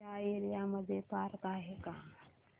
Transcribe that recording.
या एरिया मध्ये पार्क आहे का